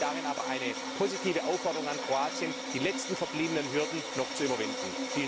Wir sehen darin aber eine positive Aufforderung an Kroatien, die letzten verbliebenen Hürden noch zu überwinden.